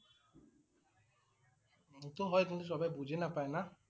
সেইটো হয় কিন্তু চবেই বুজি নাপায় না।